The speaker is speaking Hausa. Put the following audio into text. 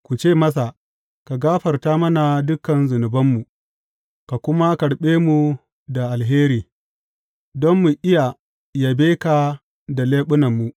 Ku ce masa, Ka gafarta mana dukan zunubanmu ka kuma karɓe mu da alheri, don mu iya yabe ka da leɓunanmu.